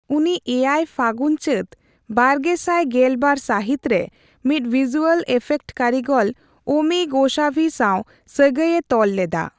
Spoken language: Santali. ᱩᱱᱤ ᱮᱭᱟᱭ ᱯᱷᱟᱜᱩᱱᱼᱪᱟᱹᱛ ᱵᱟᱨᱜᱮᱥᱟᱭ ᱜᱮᱞᱵᱟᱨ ᱥᱟᱹᱦᱤᱛ ᱨᱮ ᱢᱤᱫ ᱵᱷᱤᱡᱩᱭᱟᱞ ᱤᱯᱷᱮᱠᱴ ᱠᱟᱹᱨᱤᱜᱚᱞ ᱚᱢᱤ ᱜᱳᱥᱟᱵᱷᱤ ᱥᱟᱣ ᱥᱟᱹᱜᱟᱹᱭᱮ ᱛᱚᱞ ᱞᱮᱫᱟ ᱾